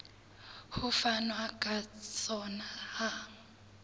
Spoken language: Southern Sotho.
ho fanwa ka sona ha